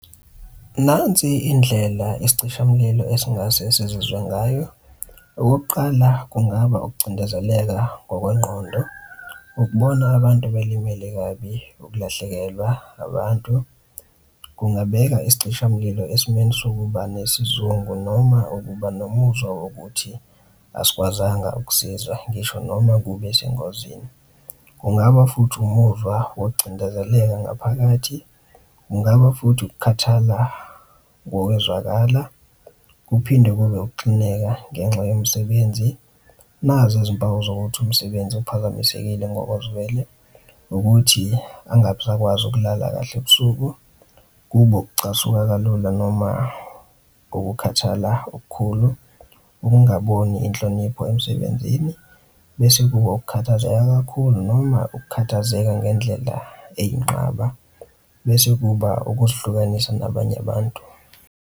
Nansi indlela isicishamlilo esingase sizuzwe ngayo. Okokuqala, kungaba ukucindezeleka ngokwengqondo, ukubona abantu belimele kabi, ukulahlekelwa abantu kungabeka isicishamlilo esimeni sokuba nesizungu noma ukuba nomuzwa wokuthi asikwazanga ukusiza ngisho noma kube sengozini. Kungaba futhi umuzwa wokucindezeleka ngaphakathi, kungaba futhi ukukhathala ngokwezwakala, kuphinde kube ukuxineka ngenxa yemsebenzi. Nazi izimpawu zokuthi umsebenzi uphazamisekile ngokozwele ukuthi angasakwazi ukulala kahle ebusuku kube ukucasuka kalula noma kokukhathala okukhulu, ukungaboni inhlonipho emsebenzini, bese kuba ukukhathazeka kakhulu noma ukukhathazeka ngendlela eyinqaba, bese kuba ukuzihlukanisa nabanye abantu.